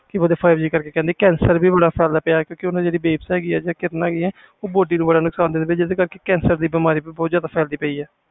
five G ਕਰਕੇ cancer ਵੀ ਬਹੁਤ ਫੈਲ ਗਿਆ ਆ ਓਹਦੀਆਂ ਜਿਹੜੀਆਂ ਕਿਰਨਾਂ ਹੈ ਗਈਆਂ ਉਹ ਮਨੁੱਖ ਦੀ body ਨੂੰ ਪ੍ਰਭਾਵਤੀ ਕਰ ਰਹੀਆਂ